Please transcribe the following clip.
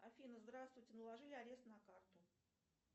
афина здравствуйте наложили арест на карту